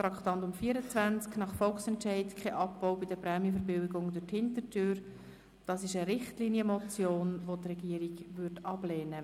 Bei Traktandum 24, «Nach Volksentscheid: Kein Abbau bei den Prämienverbilligungen durch die Hintertüre!», handelt es sich um eine Richtlinienmotion, welche die Regierung ablehnt.